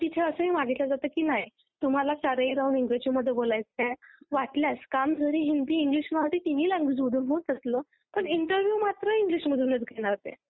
तर तिथे असंही मागितला जातं की नाय तुम्हाला पूर्ण वेळ इंग्रजीमध्ये बोलायचंय वाटल्यास काम जरी हिंदी इंग्लिश मराठी तिन्ही लॅंगवेज मधून होतं असलं, पण इंटरव्ह्यु मात्र इंग्लिश मधूनच घेणार ते. हो आणि नोकरी भेटणं म्हणजे सध्या साधू भेटण्यासारखं किंवा आपल्याला सोनं सापडल्या सारखं समजल जात